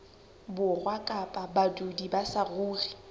borwa kapa badudi ba saruri